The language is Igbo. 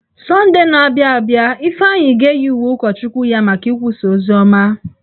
Sọndee na-abịa abịa, Ifeanyị ga-eyi uwe ụkọchukwu ya maka ikwusa oziọma.